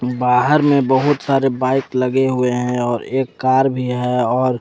बाहर में बहोत सारे बाइक लगे हुए हैं और एक कार भी है और।